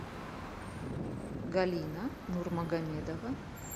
галина нурмугамедова